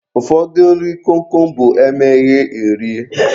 Ụfọdụ nri kom kom bụ e meghee, erie